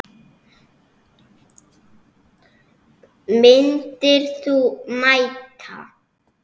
Myndir þú mæta?